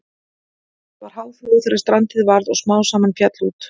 Það var háflóð þegar strandið varð og smám saman féll út.